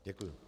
Děkuji.